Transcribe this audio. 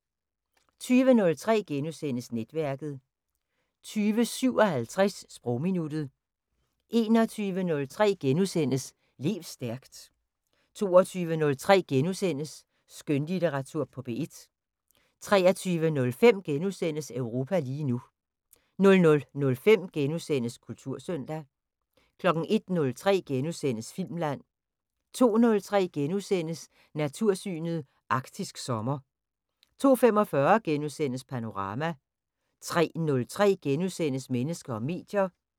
20:03: Netværket * 20:57: Sprogminuttet 21:03: Lev stærkt * 22:03: Skønlitteratur på P1 * 23:05: Europa lige nu * 00:05: Kultursøndag * 01:03: Filmland * 02:03: Natursyn: Arktisk sommer * 02:45: Panorama * 03:03: Mennesker og medier *